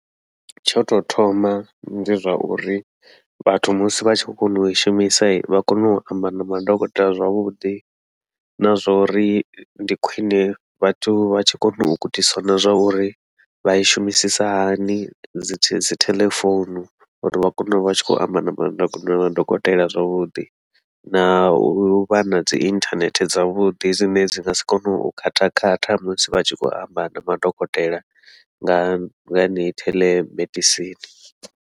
Tsho tou thoma ndi zwa uri vhathu musi vha tshi khou kona ui shumisa vha kona u amba na madokotela zwavhuḓi, na zwa uri ndi khwiṋe vhathu vha tshi kona u gudiswa na zwa uri vha i shumisisa hani dzi dzi telephone, uri vha kone uvha tshi khou amba na ma na madokotela zwavhuḓi. Na uvha nadzi inthanethe dzavhuḓi, dzine dzi ngasi kone u khatha khatha musi vha tshi khou amba na madokotela nga yeneyi theḽemedisini.